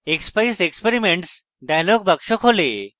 expeyes experiments dialog box খোলে